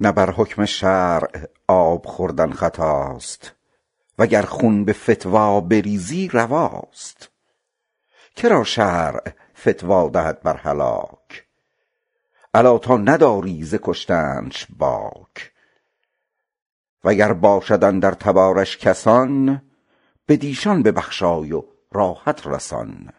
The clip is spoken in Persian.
نه بر حکم شرع آب خوردن خطاست وگر خون به فتوی بریزی رواست که را شرع فتوی دهد بر هلاک الا تا نداری ز کشتنش باک وگر دانی اندر تبارش کسان بر ایشان ببخشای و راحت رسان